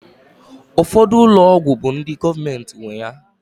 Ụfọdụ ụlọ ọgwụ bụ ndị gọọmenti nwe ya